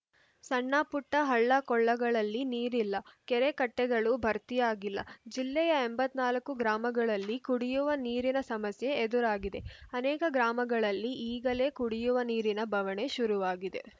ಸಣ್ಣಪುಟ್ಟಹಳ್ಳಕೊಳ್ಳಗಳಲ್ಲಿ ನೀರಿಲ್ಲ ಕೆರೆಕಟ್ಟೆಗಳು ಭರ್ತಿಯಾಗಿಲ್ಲ ಜಿಲ್ಲೆಯ ಎಂಬತ್ತ್ ನಾಲ್ಕು ಗ್ರಾಮಗಳಲ್ಲಿ ಕುಡಿಯುವ ನೀರಿನ ಸಮಸ್ಯೆ ಎದುರಾಗಿದೆ ಅನೇಕ ಗ್ರಾಮಗಳಲ್ಲಿ ಈಗಲೇ ಕುಡಿಯುವ ನೀರಿನ ಬವಣೆ ಶುರುವಾಗಿದೆ